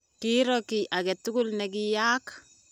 kiiro kiy age tugul ne kiyaaka